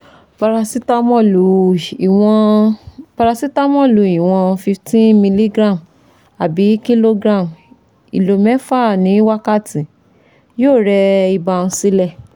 Parasitamọ́òlù ìwọ̀n Parasitamọ́òlù ìwọ̀n fifteen mg/kg/ìlò mẹ́fà ní wákàtí yóò rẹ ibà um sílẹ̀